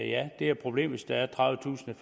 ja det er et problem hvis der er tredivetusind